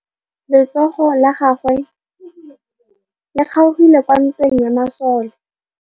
Letsôgô la tsala ya gagwe le kgaogile kwa ntweng ya masole.